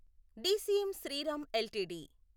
DCM Shriram LTD